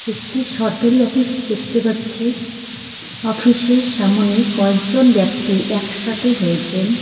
একটি সরকারি অফিস দেখতে পাচ্ছি অফিসের সামোনে কয়েকজন ব্যক্তি একসাথে হয়েছেন.